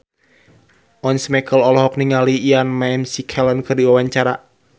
Once Mekel olohok ningali Ian McKellen keur diwawancara